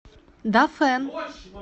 дафэн